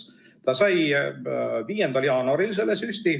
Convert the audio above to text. Ta sai selle süsti 5. jaanuaril.